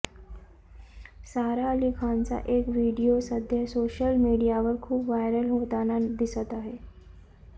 सारा अली खानचा एक व्हिडीओ सध्या सोशल मीडियावर खूप व्हायरल होताना दिसत आहे